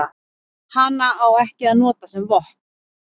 Hana á ekki að nota sem vopn